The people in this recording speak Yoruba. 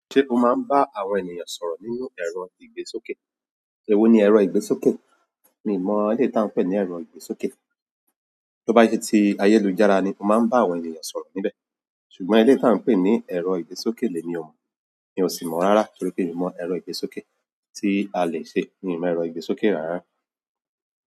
Ṣé o máa ń bá àwọn ènìyàn sọ̀rọ̀ nínú ẹ̀rọ ìgbésókè? Ewó ní ẹrọ igbésoké? Mi mọ eléyìí tí wọ́n ń pè ní ẹ̀rọ ìgbésókè. Tí ó bá ṣe ti ayélujára ni o máa ń bá àwọn ènìyàn sọ̀rọ̀ níbẹ̀. Ṣùgbọ́n eléyìí tí wọ́n ń pè ní ẹ̀rọ ìgbésókè lè mi ò mọ̀. Mi ò sì mọ̀ rárá torí pé mi mọ ẹ̀rọ ìgbésókè tí a lè ṣe. Mi mọ ẹ̀rọ ìgbésókè rárá.